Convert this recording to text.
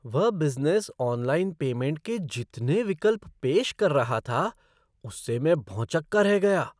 वह business online payment के जितने विकल्प पेश कर रहा था उससे मैं भौंचक्का रह गया।